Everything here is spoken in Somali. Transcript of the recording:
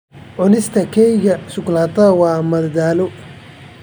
Cunista keega shukulaatada waa madadaalo.